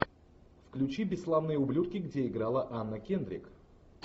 включи бесславные ублюдки где играла анна кендрик